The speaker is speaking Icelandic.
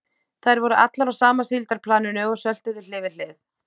Þær voru allar á sama síldarplaninu og söltuðu hlið við hlið.